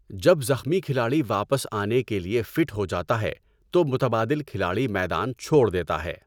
جب زخمی کھلاڑی واپس آنے کے لیے فٹ ہو جاتا ہے تو متبادل کھلاڑی میدان چھوڑ دیتا ہے۔